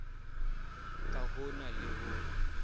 ha ho na le ho